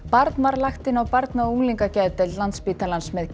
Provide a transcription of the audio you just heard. barn var lagt inn á Barna og unglingageðdeild Landspítalans með